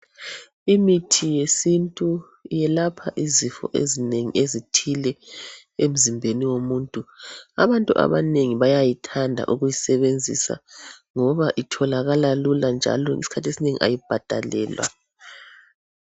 Imithi yesintu yelapha izifo ezinengi ezithile emzimbeni womuntu. Abantu abanengi bayayithanda ukuyisebenzisa ngoba itholakala Lula njalo isikhathi esinengi ayibhadalelwa